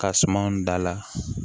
Ka sumanw dala